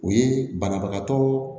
O ye banabagatɔ